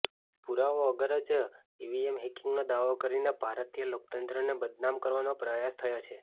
પૂરાવા વગર જ ઈવીએમ હેકિંગનો દાવો કરીને ભારતીય લોકતંત્રને બદનામ કરવાનો પ્રયાસ થયો છે